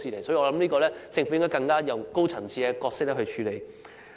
所以，我認為政府應以更高層次的方式處理。